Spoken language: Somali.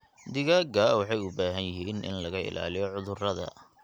Digaagga waxay u baahan yihiin in laga ilaaliyo cudurrada.